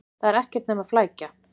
Þetta er ekkert nema flækja.